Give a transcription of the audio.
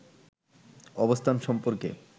অবস্থান সম্পর্কে